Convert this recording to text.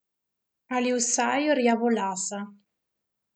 Ali vsaj rjavolasa.